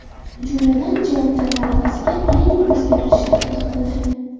Jumladan, javoblar varaqasiga ayrim o‘zgartirishlar kiritildi.